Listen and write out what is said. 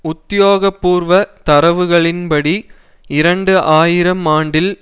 உத்தியோக பூர்வ தரவுகளின் படி இரண்டு ஆயிரம் ஆண்டில்